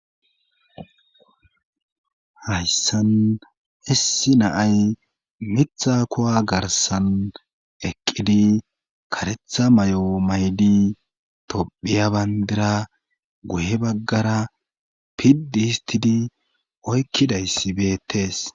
hayssan issi naay mitha kowa garsan eqqidi karetha may7o maydi tophiya bayndira guhe baggara piddi histidi oykkidayssi beettees